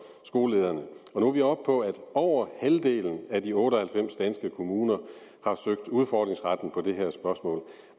skolelederne nu er vi oppe på at over halvdelen af de otte og halvfems danske kommuner har søgt udfordringsretten på det her spørgsmål